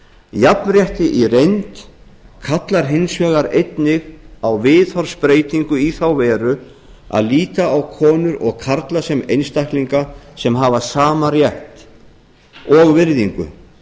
jafnrétti í reynd kallar hins vegar einnig á viðhorfsbreytingu í þá veru að líta á konur og karla sem einstaklinga sem hafa sama rétt og virðingu